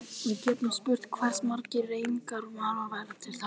Við getum spurt hversu margir renningarnir mega vera til að þetta takist.